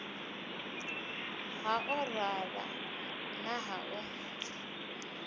ha orala na ha u